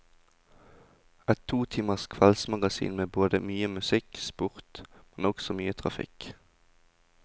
Et to timers kveldsmagasin med både mye musikk, sport, men også mye trafikk.